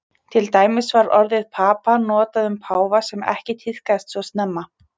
Til dæmis var orðið papa notað um páfa sem ekki tíðkaðist svo snemma.